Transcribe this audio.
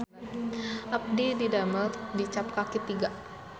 Abdi didamel di Cap Kaki Tiga